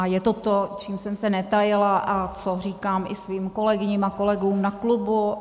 A je to to, čím jsem se netajila a co říkám i svým kolegyním a kolegům na klubu.